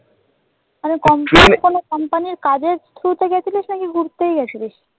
কোন companycompany র কাজের through গিয়েছিলিস নাকি ঘুরতে গিয়েছিলিস?